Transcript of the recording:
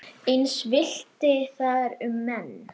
Eins villti þar um menn.